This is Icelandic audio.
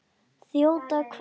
Þjóta hvert?